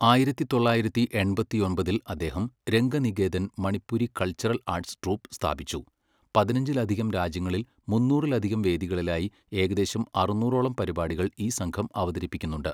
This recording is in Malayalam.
ആയിരത്തി തൊള്ളായിരത്തി എണ്പത്തിയൊമ്പതില് അദ്ദേഹം 'Ranganiketan Manipuri cultural arts troupe' സ്ഥാപിച്ചു, പതിനഞ്ചിലധികം രാജ്യങ്ങളിൽ മുന്നൂറിലധികം വേദികളിലായി ഏകദദേശം അറുന്നൂറോളം പരിപാടികൾ ഈ സംഘം അവതരിപ്പിക്കുന്നുണ്ട്.